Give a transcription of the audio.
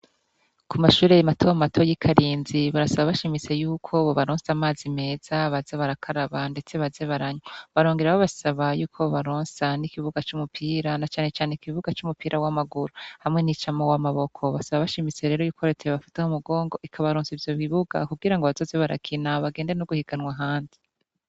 ku mashuri mato mato yi Karinzi barasaba bashimise y'uko bobaronsa amazi meza baza barakaraba ndetse baze baranywa barongera ho basaba y'uko baronsa n'ikibuga c'umupira na cane cane ikibuga c'umupira w'amaguru hamwe n'icamo w'amaboko basaba bashimise rero y'ukoreteye bafate ho mugongo ikabaronsa ivyo bibuga kubwira ngo abatoze barakina bagende no guhiganwa handi.